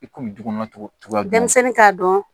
I kun bɛ du kɔnɔ tugu denmisɛnnin t'a dɔn